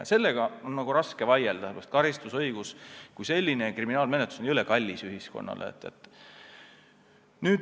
Ja sellele on olnud raske vastu vaielda, ka sellepärast, et karistusõigus kui selline ja kriminaalmenetlus on ühiskonnale hirmus kallis.